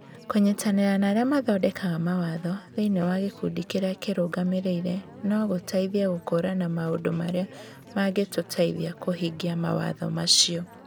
Kũnyitanĩra na arĩa mathondekaga mawatho thĩinĩ wa gĩkundi kĩrĩa kĩrũgamĩrĩire no gũteithie gũkũũrana maũndũ marĩa mangĩtũteithia kũhingia mawatho macio.